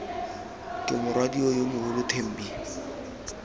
ke morwadio yo mogolo thembi